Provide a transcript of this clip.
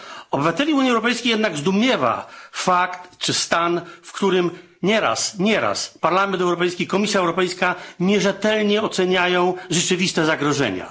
Obywateli Unii Europejskiej jednak zdumiewa fakt czy stan, w którym nieraz Parlament Europejski, Komisja Europejska nierzetelnie oceniają rzeczywiste zagrożenia.